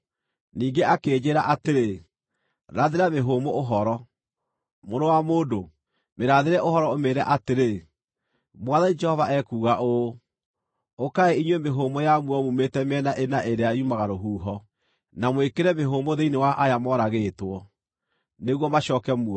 Ningĩ akĩnjĩĩra atĩrĩ, “Rathĩra mĩhũmũ ũhoro; mũrũ wa mũndũ, mĩrathĩre ũhoro ũmĩĩre atĩrĩ, ‘Mwathani Jehova ekuuga ũũ: Ũkai inyuĩ mĩhũmũ ya muoyo muumĩte mĩena ĩna ĩrĩa yumaga rũhuho, na mwĩkĩre mĩhũmũ thĩinĩ wa aya moragĩtwo, nĩguo macooke muoyo.’ ”